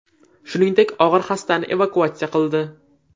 Shuningdek, og‘ir xastani evakuatsiya qildi.